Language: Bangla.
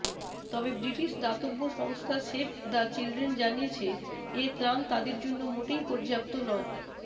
তবে ব্রিটিশ দাতব্য সংস্থা সেভ দ্য চিলড্রেন জানিয়েছে এ ত্রাণ তাদের জন্য মোটেই পর্যাপ্ত নয়